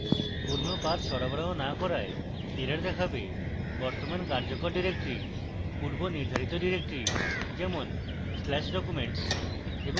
পূর্ণ path সরবরাহ না করায় error দেখাবে